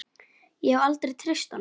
Ég hef aldrei treyst honum.